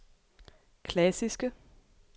klassiske